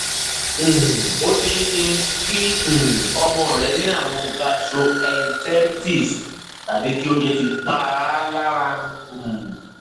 um ó ṣeé ṣe kí um ọmọ rẹ ní ààrùn gastroenteritis tàbí kí oúnjẹ ti pa á lára um